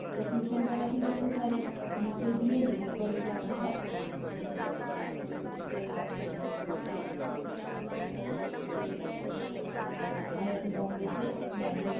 इस mission पर अधिक जानकरी नीचे दिए link पर उपलब्ध है